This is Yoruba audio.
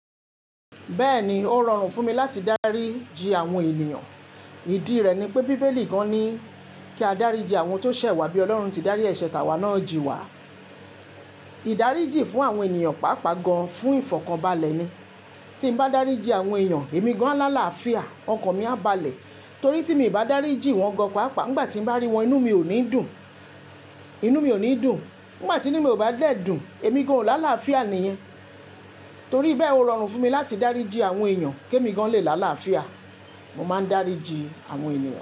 Bẹ́ẹ̀ni, ó rọrùn fún mi láti dáríji àwọn ènìyàn. Ìdí rẹ̀ ni pé Bíbélì gan-an ni kí a dáríji àwọn tó ṣẹ̀ wá bí Ọlọ́run ti dárí ẹ̀ṣẹ̀ tàwa náà ji wá. Ìdáríji fún àwọn ènìyàn pàápàá gan-an fún ìfọ̀kànbalẹ̀ ni. Tí n bá dáríji àwọn èèyàn, èmi gan-an lá láfià, ọkàn mi á balẹ̀. Torí tí mi ò bá dáríji wọ́n gan-an pàápàá, nígbà tí n bá rí wọn, inú mi ò ní dùn. Nígbà tí inú mi ò bá dle dùn, èmi gan-an ò lá láfià ni. Torí bẹ́ẹ̀ ó rọrùn fún mi láti dáríji àwọn èèyàn, kí èmi gan-an lè lá láfià. Mo máa ń dáríji àwọn ènìyàn.